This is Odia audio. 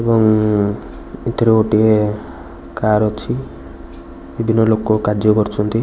ଏବଂ ଏତିରେ ଗୋଟିଏ କାର ଅଛି ଏଦିନ ଲୋକୋ କାର୍ଯ୍ୟ କରୁଛନ୍ତି।